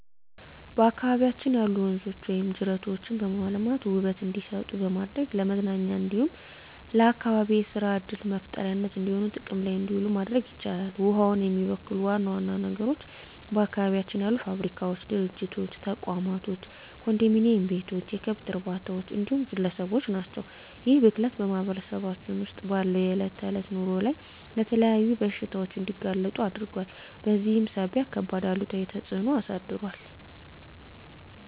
በአካባቢያችን ያሉ ወንዞች ወይም ጅረቶችን በማልማት ውበት እንዲሰጡ በማድረግ ለመዝናኛ እንዲሁም ለአካባቢ የሰራ ዕድል መፍጠሪያነት እንዲሆኑ ጥቅም ላይ እንዲውሉ ማድረግ ይቻላል። ውሃውን የሚበክሉ ዋና ዋና ነገሮች በአካባቢያችን ያሉ ፋብሪካዎች፣ ድርጅቶች፣ ተቋማቶች፣ ኮንዶሚኒዬም ቤቶች፣ የከብት እርባታዎች እንዲሁም ግለሰቦች ናቸው። ይህ ብክለት በማህበረሰባችን ውስጥ ባለው የዕለት ተዕለት ኑሮ ላይ ለተለያዩ በሽታዎች እንዲጋለጡ አድርጓል በዚህም ሳቢያ ከባድ አሉታዊ ተፅዕኖ አሳድሯል።